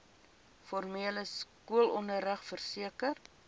formele skoolonderrig verseker